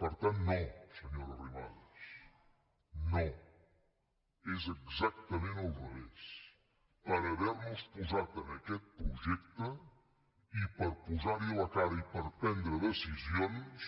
per tant no senyora arrimadas no és exactament al revés per havernos posat en aquest projecte i per posarhi la cara i per prendre decisions